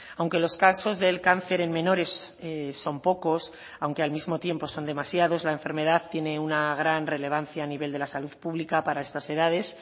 aunque los casos del cáncer en menores son pocos aunque al mismo tiempo son demasiados la enfermedad tiene una gran relevancia a nivel de la salud pública para estas edades